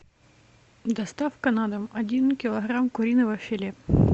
доставка на дом один килограмм куриного филе